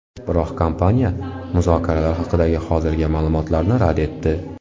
Biroq kompaniya muzokaralar haqidagi hozirgi ma’lumotlarni rad etdi.